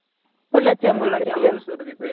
Pollachi Amul Surabhi